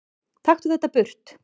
Taktu þetta burt!